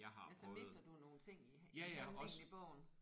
Ja så mister du nogle ting i i handlingen i bogen